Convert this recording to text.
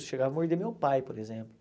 Chegava a morder meu pai, por exemplo.